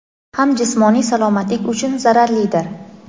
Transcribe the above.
ham jismoniy salomatlik uchun zararlidir.